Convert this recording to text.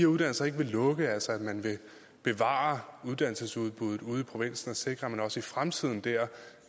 uddannelser ikke vil lukke altså at man vil bevare uddannelsesudbuddet ude i provinsen og sikre at de også i fremtiden kan